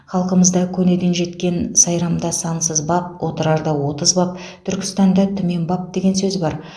халқымызда көнеден жеткен сайрамда сансыз баб отырарда отыз баб түркістанда түмен баб деген сөз бар